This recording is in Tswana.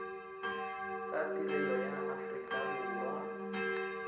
tsa tirelo ya aforika borwa